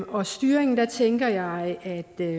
om styringen tænker jeg at der